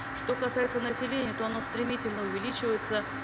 что касается населения то оно стремительно увеличивается